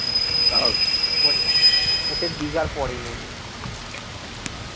ওটা হচ্ছে দিঘার পড়েই নাকি